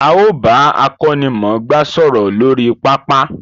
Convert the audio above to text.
A ó bà akónimòngbá sòrò lórí pápá